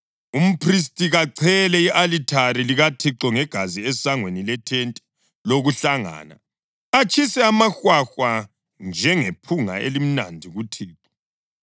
Umphristi kachele i-alithari likaThixo ngegazi esangweni lethente lokuhlangana, atshise amahwahwa njengephunga elimnandi kuThixo.